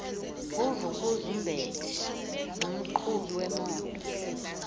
nguvukuzumbethe nomqhubi wemoto